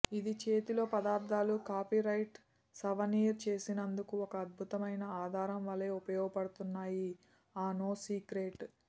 ఇది చేతిలో పదార్థాలు కాపీరైట్ సావనీర్ చేసినందుకు ఒక అద్భుతమైన ఆధారం వలె ఉపయోగపడుతున్నాయి ఆ నో సీక్రెట్